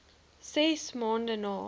ses maande na